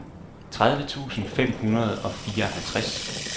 tredive tusind fem hundrede og fireoghalvtreds